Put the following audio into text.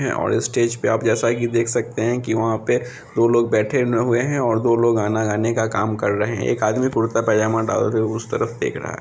है और इस स्टेज पे आप जैसा की देख सकते है की वहाँ पे दो लोग बैठे हुए हैं और दो लोग गाना गाने का काम कर रहे हैं एक आदमी कुर्ता पायजामा डाल के उस तरफ देख रहा है।